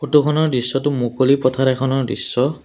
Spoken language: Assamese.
ফটোখনৰ দৃশ্যটো মুকলি পথাৰ এখনৰ দৃশ্য।